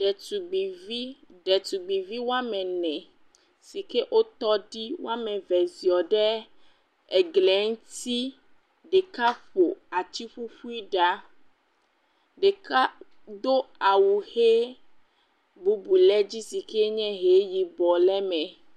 Ɖetugbuivi, ɖetugbuvi woame ene si ke wotɔ ɖi woame eve ziɔ ɖe egli ŋuti, ɖeka ƒo atiƒuiƒui ɖa, ɖeka do awu he, bubu le edzi si ke nye he yibɔ le eme.